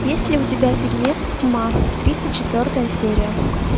есть ли у тебя фильмец тьма тридцать четвертая серия